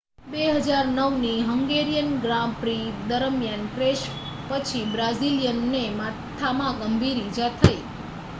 2009ની Hungarian Grand Prix દરમિયાન crash પછી બ્રાઝિલિયનને માથામાં ગંભીર ઈજા થઈ